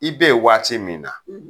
I be ye waati min na